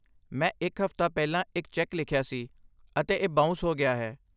ਮੈਂ ਇੱਕ ਹਫ਼ਤਾ ਪਹਿਲਾਂ ਇੱਕ ਚੈੱਕ ਲਿਖਿਆ ਸੀ, ਅਤੇ ਇਹ ਬਾਊਂਸ ਹੋ ਗਿਆ ਹੈ।